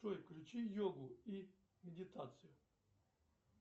джой включи йогу и медитацию